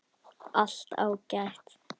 Allt ágætt.